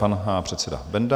Pan předseda Benda.